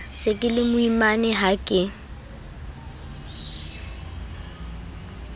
se ke lemoimana ha ke